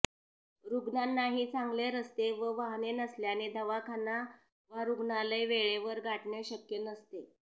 रुग्णांनाही चांगले रस्ते व वाहने नसल्याने दवाखाना वा रुग्णालय वेळेवर गाठणे शक्य नसते